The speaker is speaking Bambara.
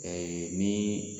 min